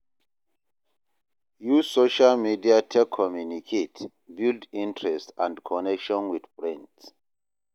Use social media take communicate, build interest and connection with friend